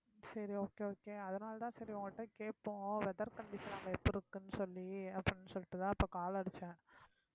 சரி okay okay அதனாலதான் சரி உங்ககிட்ட கேட்போம் weather condition அங்க எப்படி இருக்குன்னு சொல்லி அப்படின்னு சொல்லிட்டுதான் இப்ப call அடிச்சேன்